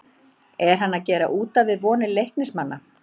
ER HANN AÐ GERA ÚT AF VIÐ VONIR LEIKNISMANNA???